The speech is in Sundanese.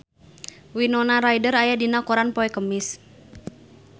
Winona Ryder aya dina koran poe Kemis